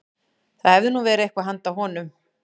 Það hefði nú verið eitthvað handa honum